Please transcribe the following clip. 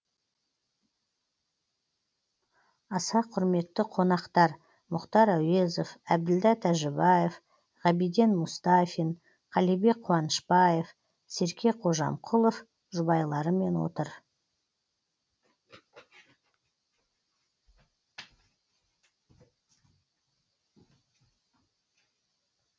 аса құрметті қонақтар мұхтар әуезов әбділда тәжібаев ғабиден мұстафин қалибек қуанышбаев серке қожамқұлов жұбайларымен отыр